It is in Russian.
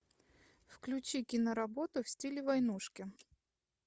включи киноработу в стиле войнушки